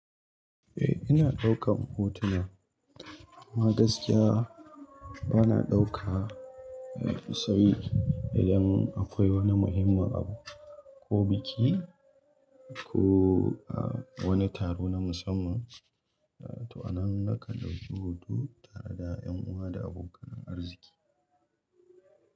Eh ina ɗaukan hotuna, amma gaskiya bana ɗauka isai idan akwai wani muhimmin abu ko biki ko a wani taro na musamman. To anan nakan dauki hotu tare da 'yan uwa da abokan arziki.